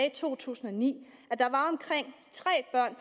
i to tusind og ni